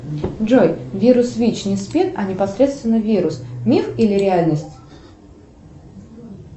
джой вирус вич не спид а непосредственно вирус миф или реальность